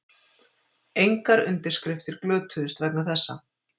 Engar undirskriftir glötuðust vegna þessa